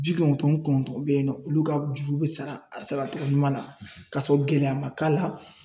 Ji kɔnɔntɔn ni kɔntɔn be yen nɔ olu ka juru be sara a sara togo ɲuman na k'a sɔrɔ gɛlɛya ma k'a la